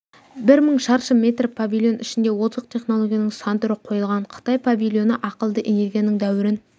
бір мың шаршы метр павильон ішінде озық технологияның сан түрі қойылған қытай павильоны ақылды энергияның дәуірін